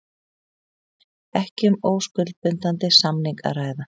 Ekki um óskuldbindandi samning að ræða